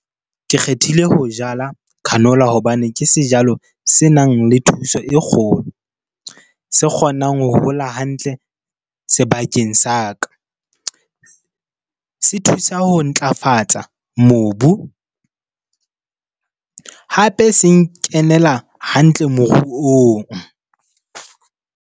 Ke kgethile ho jala canola hobane ke sejalo senang le thuso e kgolo. Se kgonang ho hola hantle sebakeng sa ka. Se thusa ho ntlafatsa mobu, hape se nkenela hantle moruong.